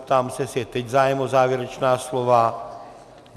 Ptám se, jestli je teď zájem o závěrečná slova.